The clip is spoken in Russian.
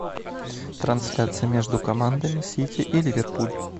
трансляция между командами сити и ливерпуль